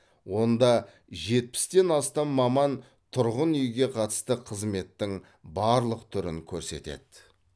онда жетпістен астам маман тұрғын үйге қатысты қызметтің барлық түрін көрсетеді